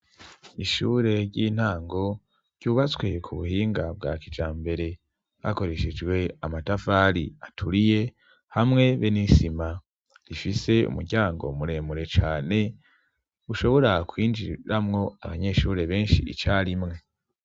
Ishure ry'intango ryubatswe ku buhinga bwa kijambere hakoreshejwe amatafari aturiye ,hamwe be n'isima rifise umuryango muremure cane, ushobora kwinjiramwo abanyeshure benshi icarimwe.